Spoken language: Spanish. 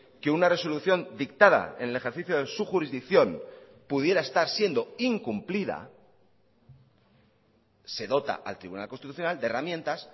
que una resolución dictada en el ejercicio de su jurisdicción pudiera estar siendo incumplida se dota al tribunal constitucional de herramientas